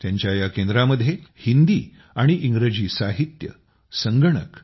त्यांच्या या केंद्रामध्ये हिंदी आणि इंग्रजी साहित्य संगणक